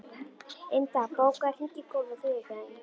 Inda, bókaðu hring í golf á þriðjudaginn.